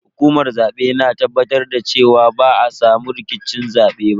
Hukumar zabe na tabbatar da cewa ba a samu rikicin zabe ba.